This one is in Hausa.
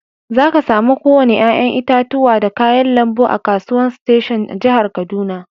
Zaka samu ko wanni yayan itatuwa da kayan lambu a'kasuwan station a'jihar Kaduna.